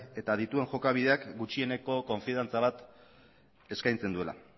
eta dituen jokabideak gutxieneko konfidantza eskaintzen duela